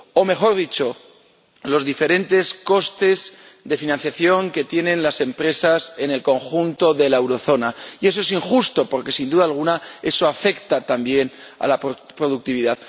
o, mejor dicho, los diferentes costes de financiación que tienen las empresas en el conjunto de la zona del euro, y eso es injusto, porque, sin duda alguna, afecta también a la productividad.